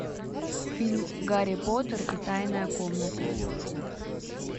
фильм гарри поттер и тайная комната